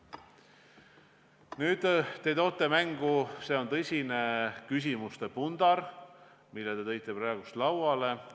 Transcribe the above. Nüüd, see on tõsine küsimuste pundar, mille te praegu lauale tõite.